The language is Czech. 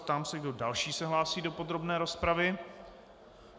Ptám se, kdo další se hlásí do podrobné rozpravy.